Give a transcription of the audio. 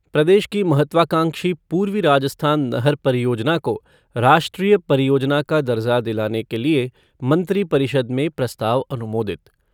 प्रदेश की महत्वकांक्षी पूर्वी राजस्थान नहर परियोजना को राष्ट्रीय परियोजना का दर्जा दिलाने के लिए मंत्री परिषद में प्रस्ताव अनुमोदित।